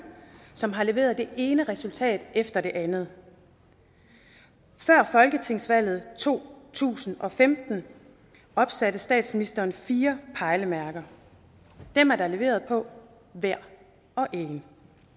som har leveret det ene resultat efter det andet før folketingsvalget i to tusind og femten opsatte statsministeren fire pejlemærker dem er der leveret på hver og en